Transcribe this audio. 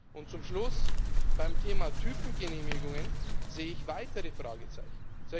Und zum Schluss Beim Thema Typengenehmigungen sehe ich weitere Fragezeichen.